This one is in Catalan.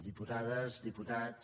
diputades diputats